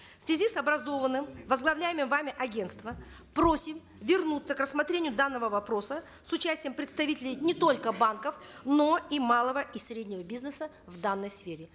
в связи с образованным возглавляемым вами агентством просим вернуться к рассмотрению данного вопроса с участием представителей не только банков но и малого и среднего бизнеса в данной сфере